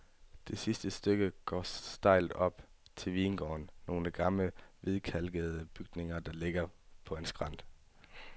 Det sidste stykke går stejlt op til vingården, nogle gamle hvidkalkede bygninger, der ligger på en skrænt.